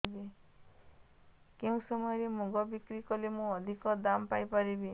କେଉଁ ସମୟରେ ମୁଗ ବିକ୍ରି କଲେ ମୁଁ ଅଧିକ ଦାମ୍ ପାଇ ପାରିବି